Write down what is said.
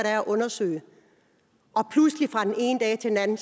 at undersøge og pludselig fra den ene dag til den anden